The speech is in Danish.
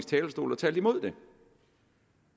talerstol og talt imod det